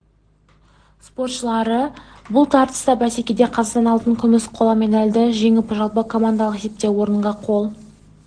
спортшылары бұл тартысты бәсекеде қазақстан алтын күміс қола медальды жеңіп жалпы командалық есепте орынға қол